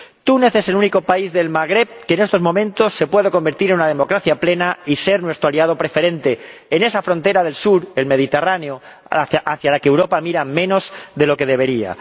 Túnez es el único país del Magreb que en estos momentos se puede convertir en una democracia plena y ser nuestro aliado preferente en esa frontera del sur, el Mediterráneo, hacia la que Europa mira menos de lo que debería.